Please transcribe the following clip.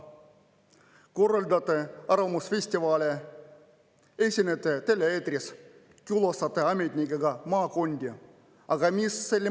Te korraldate arvamusfestivale, esinete tele-eetris, külastate ametnikega maakondi – aga mis selle mõte on?